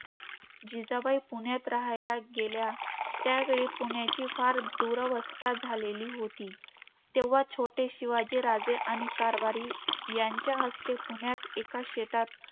जिजाबाई पुण्यात राहायला गेल्या, त्यावेळी पुण्याची फार दुरावस्था झालेली होती. तेव्हा छोटे शिवाजी राजे आणि कारभारी त्यांच्या हस्ते, पुण्यात एका शेतात